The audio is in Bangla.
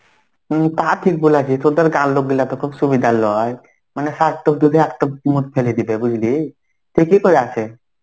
উম তা ঠিক বলেছে. তদের কার লোক গুলা তো খুব সুবিধার লয়. মানে সাপ টপ যদি একট~ ফেলে দিবে বুঝলি. ঠিকই করেছে.